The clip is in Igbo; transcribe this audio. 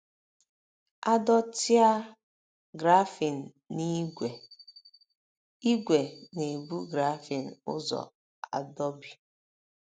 A dọtịa grafịn na ígwè, ígwè na - ebu grafịn ụzọ adọbi.